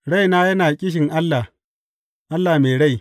Raina yana ƙishin Allah, Allah mai rai.